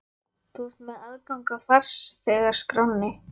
Þú ert með aðgang að farþegaskránni.